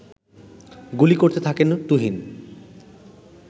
গুলি করতে থাকেন তুহিন